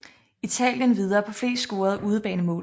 Italien videre på flest scorede udebanemål